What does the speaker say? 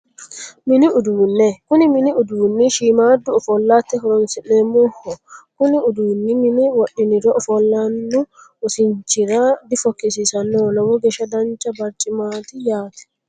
Mini uduunne kuni mini uduunni shiimmaaddu ofollate horonsi'neemmoho kuni uduunni mine wodhiniro ofollanno wosinchirano difokkisiisannoho lowo geeshsha dancha barcimaati yaate